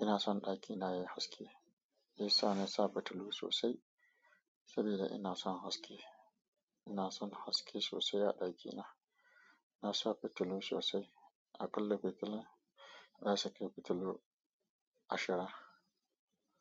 ina son ɗakina yayi haske. Shi sa na sa fitilu sosai saboda ina son haske. Ina son haske sosai a ɗakina. Na sa fitilu sosai. Akalla fitila zasu kai fitilu ashir.